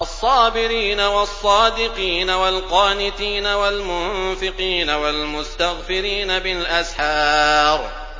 الصَّابِرِينَ وَالصَّادِقِينَ وَالْقَانِتِينَ وَالْمُنفِقِينَ وَالْمُسْتَغْفِرِينَ بِالْأَسْحَارِ